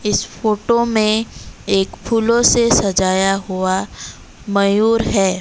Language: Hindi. इस फोटो में एक फूलों से सजाया हुआ मयूर है।